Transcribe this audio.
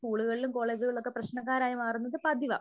സ്കൂളുകളിലും കോളേജുകളിലും ഒക്കെ പ്രശ്നക്കാരായി മാറുന്നത് പതിവാ